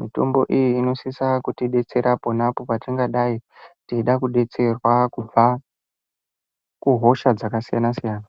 Mitombo iyi inosisa kutidetsera pona apo patingadai teida kudetserwa kubva kuhosha dzakasiyana-siyana.